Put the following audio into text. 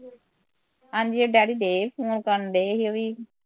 ਹਾਂਜੀ ਡੈਡੀ ਡਏ ਸੀ ਫੋਨ ਕਰਨ ਡਏ ਸੀ ਓਹ ਵੀ